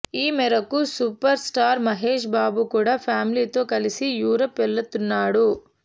ఈ మేరకు superstar Mahesh Babu కూడా ఫ్యామిలీతో కలిసి యూరప్ వెళుతున్నాడు